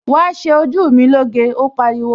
Wàá ṣe ojú mi lóge, ó pariwo!